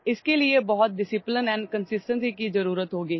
ইয়াৰ বাবেও বহুত অনুশাসন আৰু ধাৰাবাহিকতাৰ প্ৰয়োজন